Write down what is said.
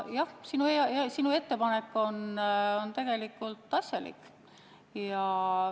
Ja sinu ettepanek on tegelikult asjalik.